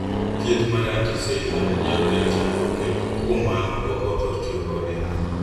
Thieth mar anti seizure nyalo kelo chandruok kendo kuom mano ok othor tiyo kode.